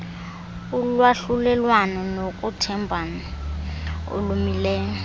ulwahlulelwano nokuthembana okumileyo